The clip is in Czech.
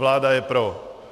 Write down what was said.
Vláda je pro.